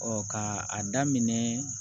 ka a daminɛ